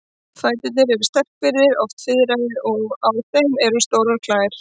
Fæturnir eru sterkbyggðir, oft fiðraðir, og á þeim eru stórar klær.